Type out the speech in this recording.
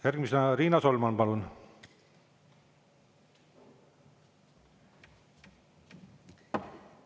Järgmisena Riina Solman, palun!